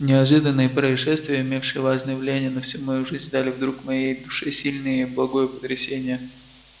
неожиданные происшествия имевшие важное влияние на всю мою жизнь дали вдруг моей душе сильное и благое потрясение